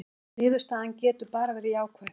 Niðurstaðan getur bara verið jákvæð